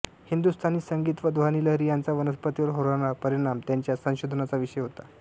हिंदु्स्तानी संगीत व ध्वनिलहरी यांचा वनस्पतींवर होणारा परिणाम हा त्यांच्या संशोधनाचा विषय होता